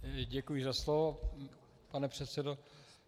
Děkuji za slovo, pane předsedo.